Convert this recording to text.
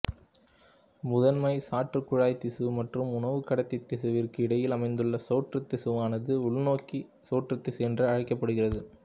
முதன்மை சாற்றுக்குழாய் திசு மற்றும் உணவுக்கடத்தி திசுவிற்கு இடையில் அமைந்துள்ள சோற்றுத்திசுவானது உள்நோக்கிய சோற்றுத்திசு என்று அழைக்கபபடுகிறது